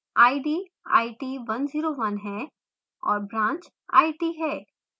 id it101 है और branch it है